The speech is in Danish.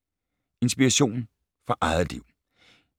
Inspiration fra eget liv